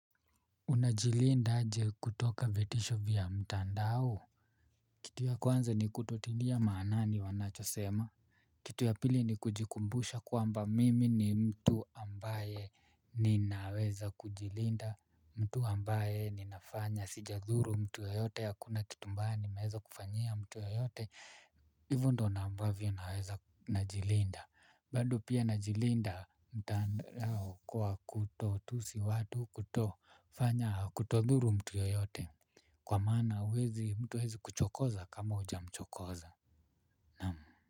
Unajilinda aje kutoka vitisho vya mtandao? Kitu ya kwanza ni kutotilia maanani wanachosema. Kitu ya pili ni kujikumbusha kwamba mimi ni mtu ambaye ninaweza kujilinda. Mtu ambaye ninafanya sijadhuru mtu yeyote hakuna kitu mbaya nimeweza kufanyia mtu yeyote. Hivyo ndio ambavyo naweza najilinda. Bado pia najilinda mtandao kwa kutotusi watu kutofanya kutodhuru mtu yoyote kwa maana huwezi mtu hawezi kuchokoza kama hujamchokoza naam.